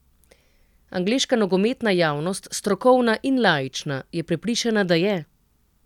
Angleška nogometna javnost, strokovna in laična, je prepričana, da je.